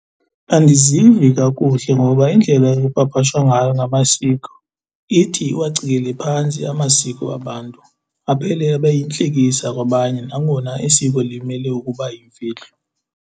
Andizivi kakuhle ngoba indlela ekupapashwa ngayo ngamasiko ithi iwacikele phantsi amasiko abantu aphele ebayintlekisa kwabanye nangona isiko limele ukuba yimfihlo.